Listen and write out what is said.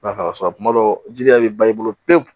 Nafa sɔrɔ a kuma dɔ jiri yɛrɛ bɛ ban i bolo pewu